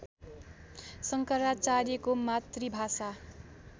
शङ्कराचार्यको मातृभाषा